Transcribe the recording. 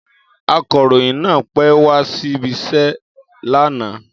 Akọ̀ròyìn náà pẹ́ wá síbi iṣẹ́ lánàá